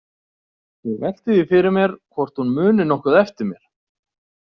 Ég velti því fyrir mér hvort hún muni nokkuð eftir mér.